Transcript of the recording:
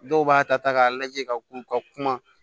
Dɔw b'a ta k'a lajɛ ka u ka kuma